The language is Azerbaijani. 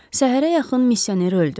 Səhərə yaxın misioner öldü.